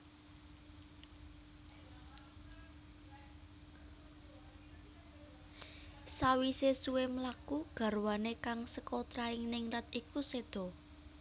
Sawisé suwé mlaku garwané kang seka trahing ningrat iku séda